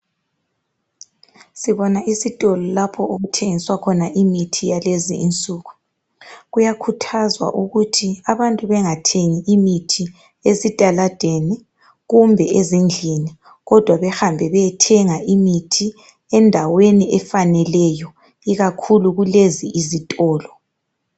Sibona isitolo lapho okuthengiswa khona imithi yakulezi insuku. Kuyakhuthazwa ukuthi abantu bengathengi imithi esitaladeni kumbe ezindlini kodwa bahambe bayethenga imithi endaweni efaneleyo ikakhulu kulezi izitolo